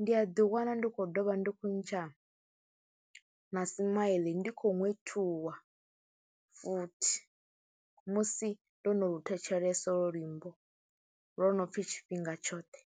Ndi a ḓiwana ndi khou ḓovha, ndi khou ntsha na smile ndi khou ṅwethuwa futhi musi ndo no lu thetshelesa holwo luimbo lwo no pfhi tshifhinga tshoṱhe.